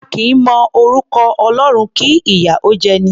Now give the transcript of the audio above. A kì í mọ orúkọ Ọlọ́run, kí ìyà ó jẹ'ni.